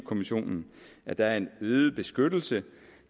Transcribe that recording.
kommissionen at der er en øget beskyttelse